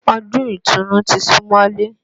Ọdún ìtùnu ti sún mọ́lé